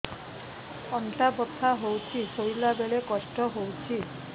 ଅଣ୍ଟା ବଥା ହଉଛି ଶୋଇଲା ବେଳେ କଷ୍ଟ ହଉଛି